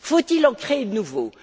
Faut il en créer de nouveaux?